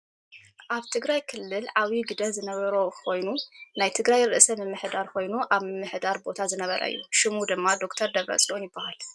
ኣበ ትግራይ ክልል ዓብይ ግደ ዝነበሮ ኮይኑ ናይ ትግራይ ርእስ ምምሕዳር ኮይኑ ኣብ ምምሕዳር ቦታ ዝነበረ እዩ። ሽሙ ድማ ዶ/ር ድብረፅዮን ይብሃል።